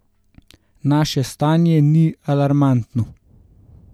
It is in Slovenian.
Naše stanje ni alarmantno.